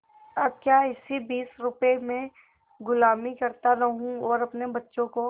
अब क्या इसी बीस रुपये में गुलामी करता रहूँ और अपने बच्चों को